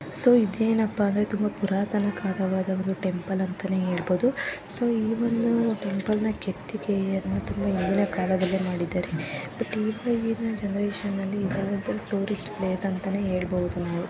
So ಇದು ಏನಪ್ಪ ಅಂದರೆ ತುಂಬಾ ಪುರಾತನ ಕಾಲದ ಟೆಂಪಲ್‌ ಅಂತಾ ಹೇಳಬಹುದು. ಸೋ ಈ ಒಂದು ಟೆಂಪಲ್‌ ನ್ನು ಕೆತ್ತಿಕೆಯ ತುಂಬಾ ಹಿಂದಿನ ಕಾಲದು ಬಟ್‌ ಈಗೀನ ಜನರೇಷನ್‌ನಲ್ಲಿ ಈ ತರಹದು ಟೂರಿಸ್ಟ್‌ ಪ್ಲೇಸ್‌ ಅಂತಾ ಹೇಳಬಹುದು ನಾವು.